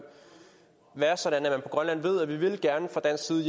være sådan at man på grønland ved at vi fra dansk side